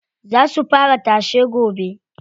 Za su fara tashe gobe.